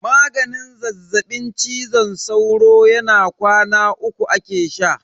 Maganin zazzaɓin cizon sauron na kwana uku ake sha.